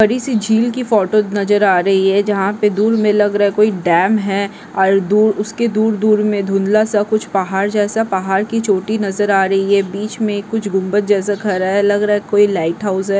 बड़ीसी झील की फोटो नजर आ रही है जहा पे दूर में लग रहा कोई डैम है और दू उसके दूर-दूर में धुंधला सा कुछ पहाड़ जैसा पहाड़ की चोटी नजर आ रही है बीच में कुछ गुम्बद जैसा खड़ा है लग रहा है कोई लाइट हाउस है।